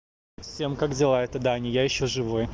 всем как дела это даня я ещё живой